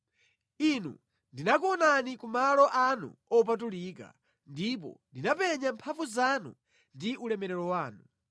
Inu ndinakuonani ku malo anu opatulika ndipo ndinapenya mphamvu zanu ndi ulemerero wanu.